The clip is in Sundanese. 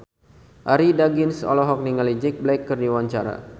Arie Daginks olohok ningali Jack Black keur diwawancara